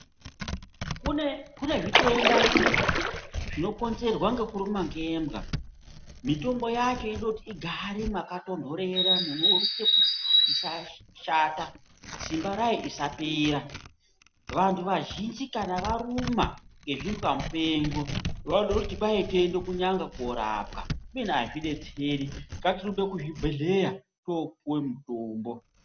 Kune kune zvitenda zvinokonzerwa ngekurumwa ngembwa mitombo yacho inoda kuti igare makatondorera munoite kuti isashata simba rayo isapera , vantu vazhinji kana varumwa ngezvimbwa mupengo vanoda kuti kwai tiyende kunyanga korapwa kubeni azvidetseri ngatirumbe kuzvibhedhleya topuwe mutombo.